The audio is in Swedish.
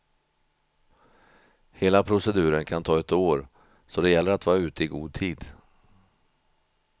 Hela proceduren kan ta ett år, så det gäller att vara ute i god tid.